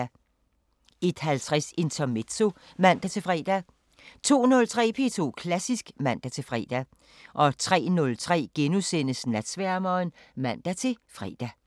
01:50: Intermezzo (man-fre) 02:03: P2 Klassisk (man-fre) 03:03: Natsværmeren *(man-fre)